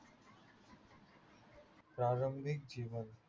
प्रारंभीक जीवन